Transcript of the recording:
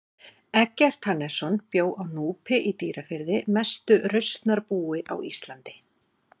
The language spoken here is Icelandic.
Eggert Hannesson bjó á Núpi í Dýrafirði mestu rausnarbúi á Íslandi.